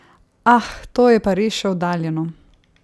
Ah, to je pa res še oddaljeno.